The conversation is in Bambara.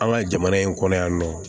An ka jamana in kɔnɔ yan nɔ